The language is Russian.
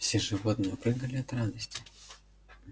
все животные прыгали от радости